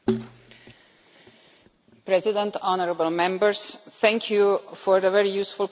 Mr President, honourable Members, thank you for the very useful contribution to the debate.